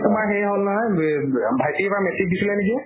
তোমাৰ হেৰি হল নহয় ৱা ভাইটীয়ে এইবাৰ metric দিছিলে নিকি?